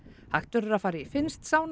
hægt verður að fara í finnskt